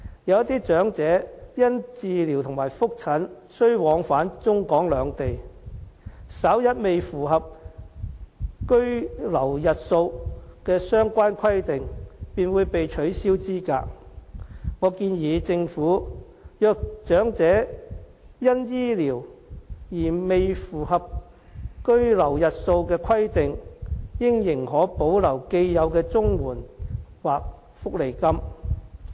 有些長者因治療和覆診而需要往返中港兩地，稍一未符合居留日數的相關規定，便會被取消資格，我建議政府如果察悉長者由於醫療的原因而未符合居留日數的規定，應仍可保留既有的綜援或福利金。